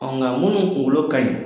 nka munu kunkolo kaɲi